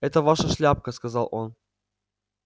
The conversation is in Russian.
это ваша шляпка сказал он